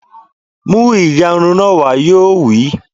Mú ìyarun náà wá! Yóò wí